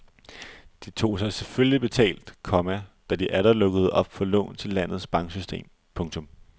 De tog sig selvfølgelig betalt, komma da de atter lukkede op for lån til landets banksystem. punktum